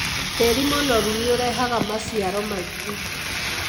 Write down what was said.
Tĩri mũnoru nĩ ũrehaga maciaro maingĩ.